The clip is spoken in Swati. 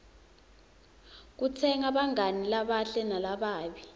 kukhetsa bangani labahle nalababi